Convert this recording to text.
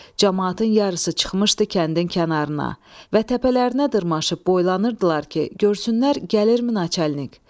Camaatın yarısı çıxmışdı kəndin kənarına və təpələrinə dırmaşıb boylanırdılar ki, görsünlər gəlirmi naçalnik.